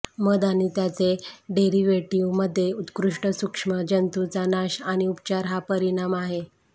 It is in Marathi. मध आणि त्याचे डेरिव्हेटीव्हमध्ये उत्कृष्ट सूक्ष्म जंतूचा नाश आणि उपचार हा परिणाम आहे